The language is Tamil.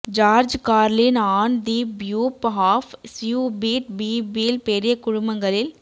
ஜார்ஜ் கார்லின் ஆன் தி ப்யூப் ஆஃப் ஸ்யூபிட் பீபிள் பெரிய குழுமங்களில்